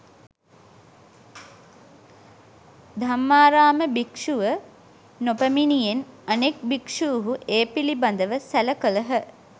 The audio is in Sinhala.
ධම්මාරාම භික්ෂුව නොපැමිණියෙන් අනෙක් භික්ෂුහු ඒ පිළිබඳව සැල කළහ.